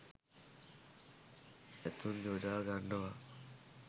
ඇතුන් යොදා ගන්නවා.